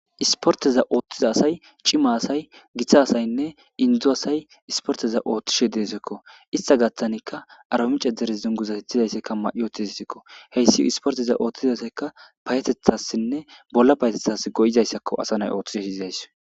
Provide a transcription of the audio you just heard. Issiporteza oththiza asay cima asay gita asaynne inzo asay isporteza ooththtishe de'esikko issta gaththanikka arbaminch dere dunguzo bettizayssa mayi uttidayssakko hyssi isporteza ooththtiza asayikka payateththasinne bolla payateththasi go'izayssii dizayssakko asa nayi oththishe dizayssi